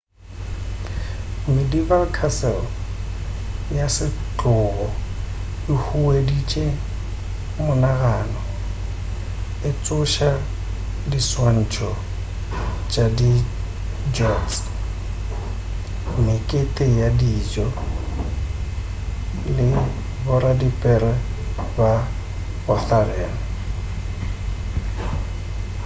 medieval castle ya setlogo e hueditše monagano e tsoša diswantšo tša di jousts mekete ya dijo le boradipere ba ma-arthurian